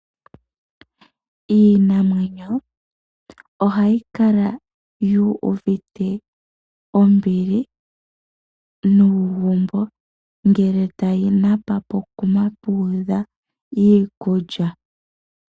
Iinamwenyo ohayi kala yuuvite ombili nuugumbo ngele tayi napa pokuma puudha iikulya.